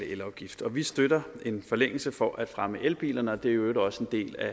elafgift vi støtter en forlængelse for at fremme elbilerne og det øvrigt også en del af